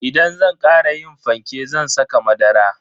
Idan zan kara yin fanke zan saka madara.